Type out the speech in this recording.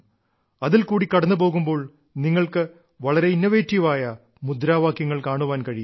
അതിൽക്കൂടി കടന്നുപോകുമ്പോൾ നിങ്ങൾക്ക് വളരെ ഇന്നവേറ്റീവായ മുദ്രാവാക്യങ്ങൾ കാണാൻ കഴിയും